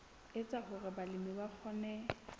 etsa hore balemi ba kgone